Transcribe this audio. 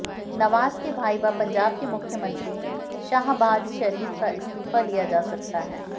नवाज के भाई व पंजाब के मुख्यमंत्री शाहबाज शरीफ का इस्तीफा लिया जा सकता है